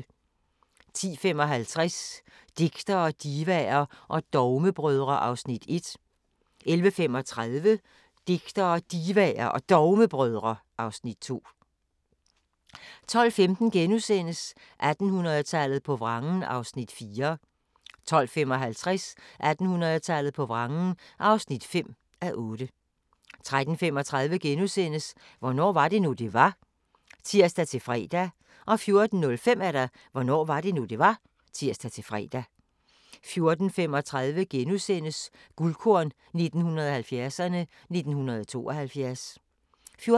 10:55: Digtere, divaer og dogmebrødre (Afs. 1) 11:35: Digtere, Divaer og Dogmebrødre (Afs. 2) 12:15: 1800-tallet på vrangen (4:8)* 12:55: 1800-tallet på vrangen (5:8) 13:35: Hvornår var det nu, det var? *(tir-fre) 14:05: Hvornår var det nu, det var? (tir-fre) 14:35: Guldkorn 1970'erne: 1972 * 14:55: